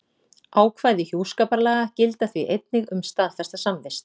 Ákvæði hjúskaparlaga, gilda því einnig um staðfesta samvist.